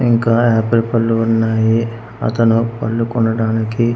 ఇంకా యాపిల్ పళ్ళు ఉన్నాయి అతను పళ్ళు కొనడానికి--